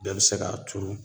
Bɛɛ bi se k'a turu